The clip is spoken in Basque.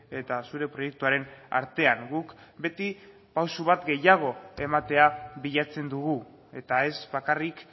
eta zure proiektuaren artean guk beti pausu bat gehiago ematea bilatzen dugu eta ez bakarrik